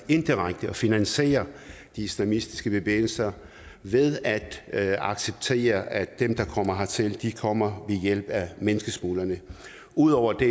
indirekte at finansiere de islamistiske bevægelser ved at at acceptere at dem der kommer hertil kommer ved hjælp af menneskesmuglerne ud over det